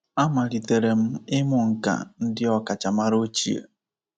Amalitere m ịmụ nkà ndị ọkacha maara ochie.